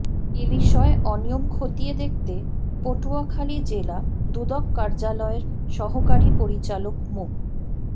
এ বিষয়ে অনিয়ম খতিয়ে দেখতে পটুয়াখালী জেলা দুদক কার্যালয়ের সহকারী পরিচালক মো